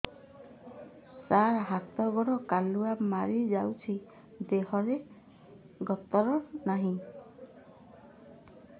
ସାର ହାତ ଗୋଡ଼ କାଲୁଆ ମାରି ଯାଉଛି ଦେହର ଗତର ନାହିଁ